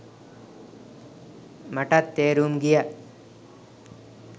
මටත් තේරුම් ගියා